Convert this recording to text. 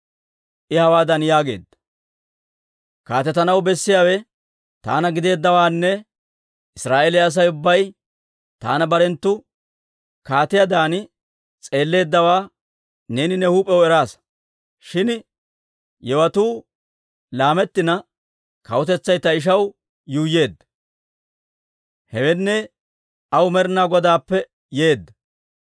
I hawaadan yaageedda; «Kaatetanaw bessiyaawe taana gideeddawaanne Israa'eeliyaa Asay ubbay taana barenttu kaatiyaadan s'eelleeddawaa neeni ne huup'iyaw eraasa. Shin yewotuu laamettina kawutetsay ta ishaw yuuyyeedda; hewenne, aw Med'inaa Godaappe yeedda.